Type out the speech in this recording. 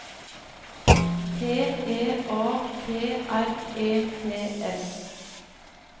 T E A T R E T S